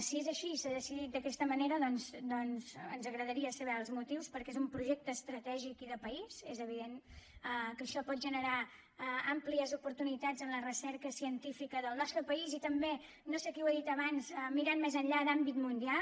si és així i s’ha decidit d’aquesta manera doncs ens agradaria saberne els motius perquè és un projecte estratègic i de país és evident que això pot generar àmplies oportunitats en la recerca científica del nostre país i també no sé qui ho ha dit abans mirant més enllà d’àmbit mundial